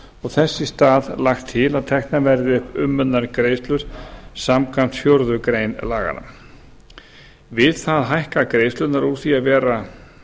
og þess í stað lagt til að teknar verði upp umönnunargreiðslur samkvæmt fjórðu grein laganna við það hækka greiðslurnar úr því að vera